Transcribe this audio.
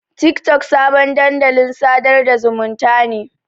Tiktok sabon dandalin sadar da zumunta ne.